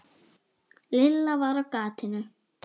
Lilla var á gatinu.